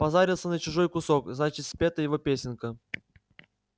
позарился на чужой кусок значит спета его песенка